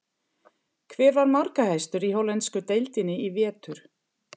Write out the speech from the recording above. Hver var markahæstur í hollensku deildinni í vetur?